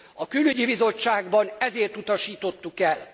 A Külügyi Bizottságban ezért utasítottuk el.